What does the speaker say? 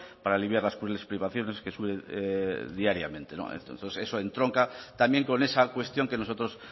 para aliviar las crueles privaciones que sufren diariamente eso entronca también con esa cuestión por la que nosotros